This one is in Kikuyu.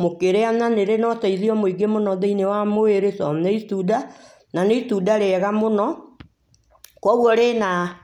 mũkĩrĩa na nĩ rĩ na ũteithio mũno thĩiniĩ wa mwĩrĩ tondũ nĩ itunda, na nĩ itunda rĩega mũno. Kwoguo rĩna--